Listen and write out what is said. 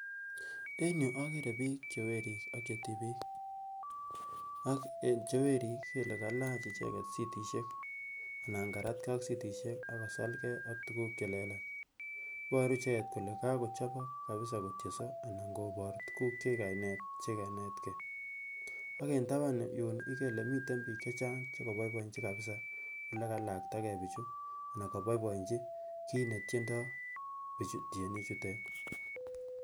en yuu akere biik chewerik ak chetibiik ak cheweriik ikere ile kalach icheket sitisiek anan karatkee ak sitisiek ak kosalgee ak tukuk chelelach iboru icheket kole kakochobok kabisa kotienso anan kobor tukuk chekainet chekainetkee ak en taban yuun ikere ile miten biik chechang chekoboboinji kabisa yekalaktkakei bichu anan koboiboinji kit netyendoo bichu tienik chutet